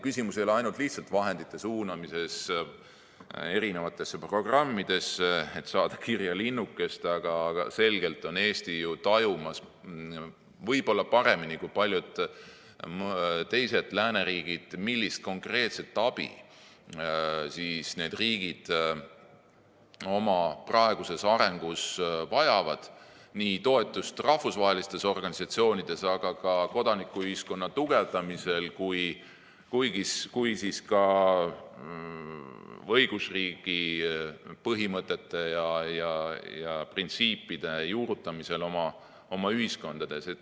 Küsimus ei ole lihtsalt vahendite suunamises erinevatesse programmidesse, et saada kirja linnukest, vaid Eesti selgelt ju tajub, võib-olla paremini kui paljud teised lääneriigid, millist konkreetset abi need riigid oma praeguses arengus vajavad, millist toetust rahvusvahelistes organisatsioonides ja ka kodanikuühiskonna tugevdamisel ning õigusriigi põhimõtete ja printsiipide juurutamisel oma ühiskonnas.